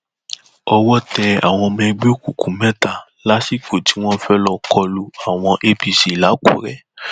owó tẹ àwọn ọmọ ẹgbẹ òkùnkùn mẹta lásìkò tí wọn fẹẹ lọọ kọ lu àwọn apc làkúrẹ